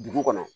Dugu kɔnɔ